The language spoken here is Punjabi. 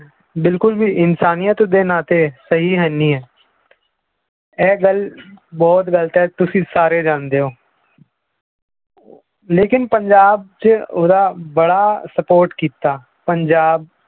ਬਿਲਕੁਲ ਵੀ ਇਨਸਾਨੀਅਤ ਦੇ ਨਾਤੇ ਸਹੀ ਹੈਨੀ ਹੈ ਇਹ ਗੱਲ ਬਹੁਤ ਗ਼ਲਤ ਹੈ ਤੁਸੀਂ ਸਾਰੇ ਜਾਣਦੇ ਹੋ ਲੇਕਿੰਨ ਪੰਜਾਬ 'ਚ ਉਹਦਾ ਬੜਾ support ਕੀਤਾ ਪੰਜਾਬ